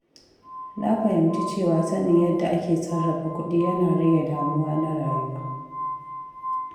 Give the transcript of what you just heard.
Na fahimci cewa sanin yadda ake sarrafa kuɗi yana rage damuwa na rayuwa.